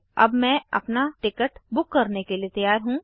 अब मैं अपना टिकट बुक करने के लिए तैयार हूँ